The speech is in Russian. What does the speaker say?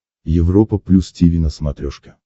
европа плюс тиви на смотрешке